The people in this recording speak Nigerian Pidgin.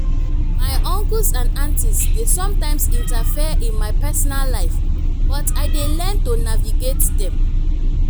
my uncles and aunties dey sometimes interfere in my personal life but i dey learn to navigate dem.